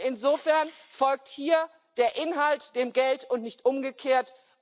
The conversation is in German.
Insofern folgt hier der Inhalt dem Geld und nicht umgekehrt.